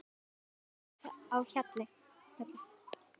Þá var glatt á hjalla.